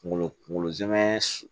Kungolo kungolo zɛmɛ